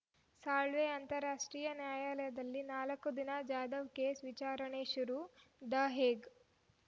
ಸಾಳ್ವೆ ಅಂತಾರಾಷ್ಟ್ರೀಯ ನ್ಯಾಯಾಲಯದಲ್ಲಿ ನಾಲ್ಕು ದಿನ ಜಾಧವ್‌ ಕೇಸ್‌ ವಿಚಾರಣೆ ಶುರು ದ ಹೇಗ್‌